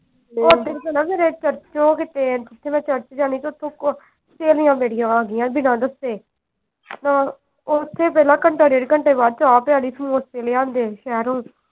ਓਧਰ ਤੇ ਨਾ ਮੇਰੇ church ਚ ਉਹ ਕੀਤੇ ਜਿਥੇ ਮੈਂ church ਜਾਣੀ ਓਥੋਂ ਸਹੇਲੀਆਂ ਮੇਰੀਆਂ ਆ ਗਈਆਂ ਬਿਨਾ ਦੱਸੇ ਹਾਂ ਓਥੇ ਪਹਿਲਾਂ ਘੰਟਾ ਡੇਢ ਘੰਟੇ ਬਾਅਦ ਚਾਹ ਦੇ ਨਾਲ ਸਮੋਸੇ ਲਿਆਂਦੇ ਸ਼ਹਿਰੋਂ।